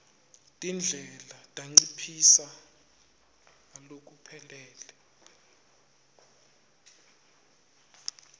tindlela tanciphisa ngalokuphelele